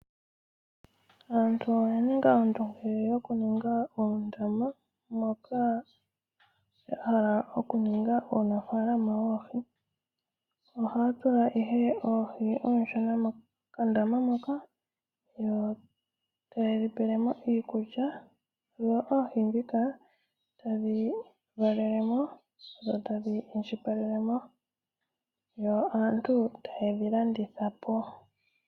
Aantu oya ninga ondumge yokuninga oondama dhoohi moka ya hala oku ninga uunafalama woohi. Moka haya tula oohi ooshona mokandama mokandama moka yo ta yedhi pelemo iikulya tadhi valelemo yo aantu ta yedhi landitha.